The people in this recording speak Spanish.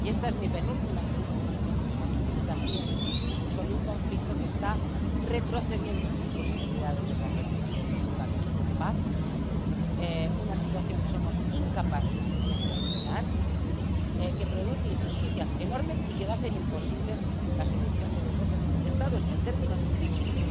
Y esta es mi penúltima intervención en el Pleno, y también es sobre un conflicto que está retrocediendo en sus posibilidades de convertirse en un camino de paz, una situación que somos incapaces de gestionar, que produce injusticias enormes y que va a hacer imposible la solución de los dos Estados en términos físicos.